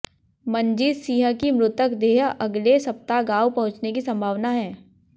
मनजीत सिंह की मृतक देह अगले सप्ताह गांव पहुंचने की संभावना है